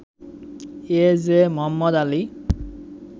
A J Mohammad Ali